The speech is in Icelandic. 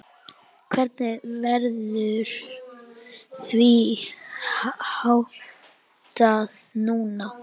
Hvernig verður því háttað núna?